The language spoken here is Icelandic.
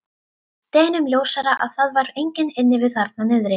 Deginum ljósara að það var enginn inni við þarna niðri.